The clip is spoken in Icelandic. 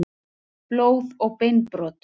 Blóð og beinbrot.